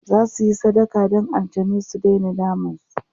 zasuyi sadaka Dan aljanai su Daina damun su